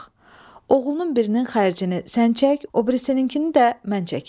Oğlunun birinin xərcini sən çək, o birisininkini də mən çəkim.